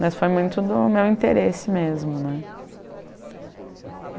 Mas foi muito do meu interesse mesmo né.